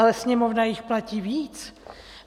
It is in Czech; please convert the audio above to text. Ale Sněmovna jich platí víc.